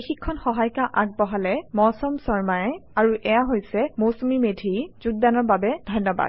এই শিক্ষন সহায়িকা আগবঢ়ালে মৌচম শৰ্মায়ে আৰু এইয়া হৈছে মৌচুমী মেধি যোগদানৰ বাবে ধন্যবাদ